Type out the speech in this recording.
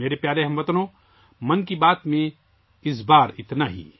میرے پیارے ہم وطنو، اس بار 'من کی بات' میں اتنا ہی